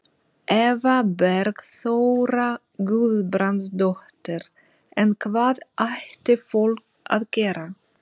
Eva Bergþóra Guðbrandsdóttir: En hvað ætti fólk að gera?